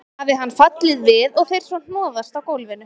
Hafi hann fallið við og þeir svo hnoðast á gólfinu.